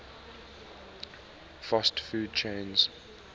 fast food chains